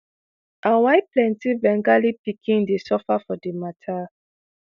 and why plenty bengali pikin dey suffer for di matter?